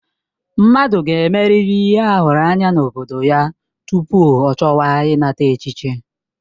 Mmadụ ga-emerịrị ihe a hụrụ anya n'obodo ya tupu ọ chọwa ịnata echichi.